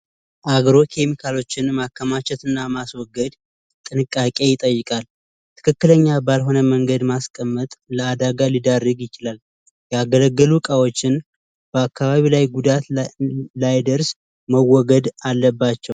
አግሮ ኬሚካሎችን ማከማቸትና ማስወገድ ጥንቃቄ ይጠይቃል ትክክለኛ ባልሆነ መንገድ ማስቀመጥ ለዳጋ ሊደረግ ይችላል። ያገለገሉ እቃዎችበአካባቢ ላይ ጉዳት ጉዳት እንዳደርሱ ባግባቡ መወገድ አለባቸ።